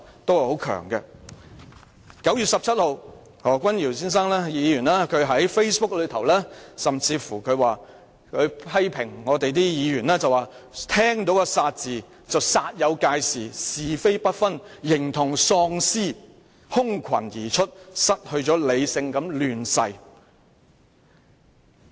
在9月19日，何君堯議員甚至在 Facebook 上發帖批評聯署的議員："但偏偏聽了個'殺'字，便煞有介事，是非不分，形同喪屍，空群而出，失去理性地亂噬......